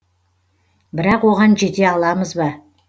бірақ оған жете аламыз ба